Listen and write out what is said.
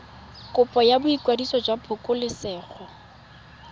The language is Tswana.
kopo ya boikwadiso jwa phokoletso